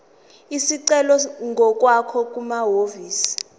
isicelo ngokwakho kumahhovisi